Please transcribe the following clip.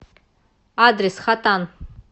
адрес хатан